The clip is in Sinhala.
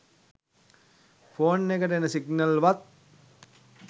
ෆෝන් එකට එන සිග්නල් වත්